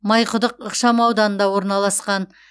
майқұдық ықшамауданында орналасқан